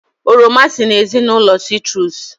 Oroma si n'ezinụlọ sitrus